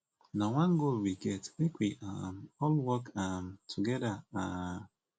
na one goal we get make we um all work um together um